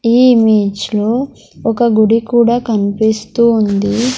Image లో ఒక గుడి కూడా కనిపిస్తూ ఉంది.